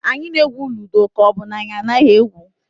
Anyị na-egwu ludo ka ọ bụ na anyị anaghị egwu?